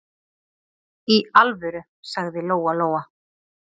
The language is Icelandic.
Í alvöru, sagði Lóa-Lóa.